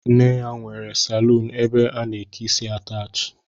Nne ya nwere saluunu ebe a na-eke isi ataachi